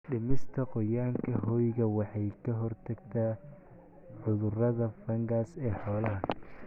Dhimista qoyaanka hoyga waxay ka hortagtaa cudurada fangas ee xoolaha.